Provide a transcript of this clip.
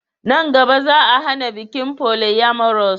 Nan gaba, Za'a hana bikin polyamorous.